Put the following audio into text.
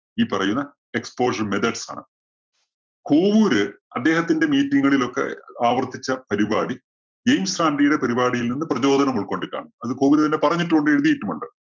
ഈ പറയുന്ന exportion methods ആണ്. കോവൂര് അദ്ദേഹത്തിന്റെ meeting കളിലൊക്കെ ആവർത്തിച്ച പരിപാടി ജെയിംസ് റാന്‍ഡിയുടെ പരിപാടിയിൽ നിന്ന് പ്രചോദനം ഉൾക്കൊണ്ടിട്ടാണ്. അത് കോവൂര് തന്നെ പറഞ്ഞിട്ടും ഉണ്ട് എഴുതിയിട്ടും ഉണ്ട്.